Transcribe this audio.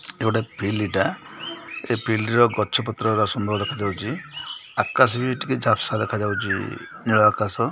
ସେଟି ଗୋଟେ ଫିଲ୍ଡ ଟା ଏ ଫିଲ୍ଡ ର ଗଛ ପତ୍ର ରରା ସୁନ୍ଦର ଦେଖାଯାଉଚି ଆକାଶ ବି ଟିକେ ଝାପ୍ସା ଦେଖାଯାଉଚି ନୀଳ ଆକାଶ।